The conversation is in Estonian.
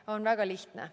See on väga lihtne.